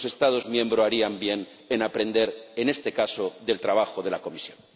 Los Estados miembros harían bien en aprender, en este caso, del trabajo de la Comisión.